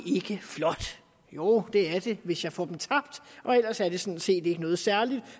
ikke flot jo det er det hvis jeg får dem tabt og ellers er det sådan set ikke noget særligt